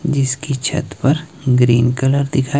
जीसकी छत पर green colour दिखा--